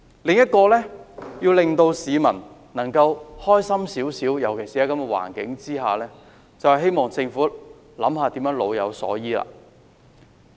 另一個可以令市民稍為開心的做法，尤其是在這種環境下，就是政府要想想如何老有所依。